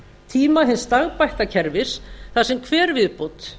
tíma hins stagbætta kerfis þar sem hver viðbót